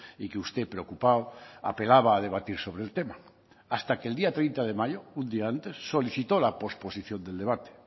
y que usted preocupado apelaba a debatir sobre el tema hasta que el día treinta de mayo un día antes solicitó la posposición del debate